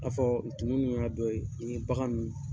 A fɔ tumu min y'a dɔ ye, i ni bagan min